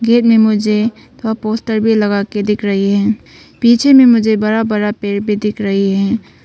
मुझे वह पोस्टर भी लगा कर दिख रही है पीछे में मुझे बड़ा बड़ा पेड़ भी दिख रही है।